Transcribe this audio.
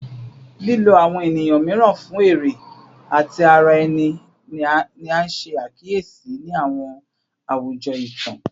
Lilo awọn eniyan miiran fun ere ti ara ẹni ni a ṣe akiyesi ni awọn awujọ itan